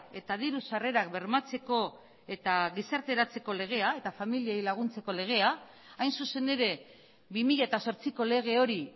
eta diru sarrerak bermatzeko eta gizarteratzeko legea eta familiei laguntzeko legea hain zuzen ere bi mila zortziko lege hori